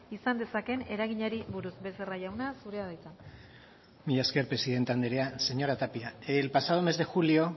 izan dezakeen eraginari buruz becerra jauna zurea da hitza mila esker presidente andrea señora tapia el pasado mes de julio